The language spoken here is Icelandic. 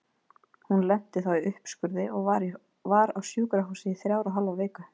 Hún lenti þá í uppskurði og var á sjúkrahúsi í þrjár og hálfa viku.